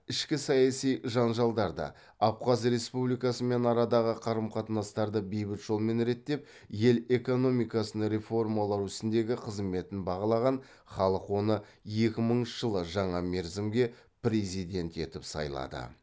ішкі саяси жанжалдарды абхаз республикасымен арадағы қарым қатынастарды бейбіт жолмен реттеп ел экономикасын реформалау ісіндегі қызметін бағалаған халық оны екі мыңыншы жылы жаңа мерзімге президент етіп сайлады